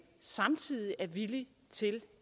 samtidig er villig til